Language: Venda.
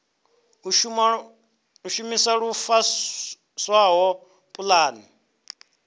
u shumisa lu fushaho pulane